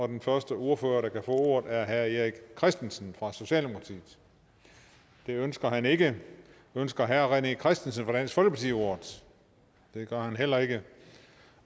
den første ordfører ordet er herre erik christensen fra socialdemokratiet det ønsker han ikke ønsker herre rené christensen fra dansk folkeparti ordet det gør han heller ikke